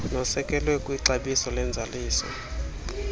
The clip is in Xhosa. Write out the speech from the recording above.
nosekelwe kwixabiso lwenzaliso